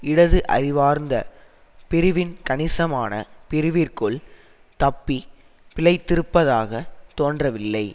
இடது அறிவார்ந்த பிரிவின் கணிசமான பிரிவிற்குள் தப்பி பிழைத்திருப்பதாகத் தோன்றவில்லை